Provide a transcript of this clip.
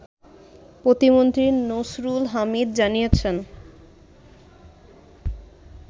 প্রতিমন্ত্রী নসরুল হামিদ জানিয়েছেন